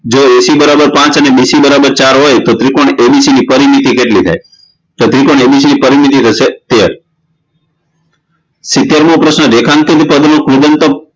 જ AC બરાબર પાંચ અને BC બરાબર ચાર હોય તો ત્રિકોણ ABC ની પરિમિતી કેટલી થાય તો ત્રિકોણ ABC ની પરિમિતી થશે તેર સિતેરમો પ્રશ્ન રેખાંકિત પદનું કૃદંતક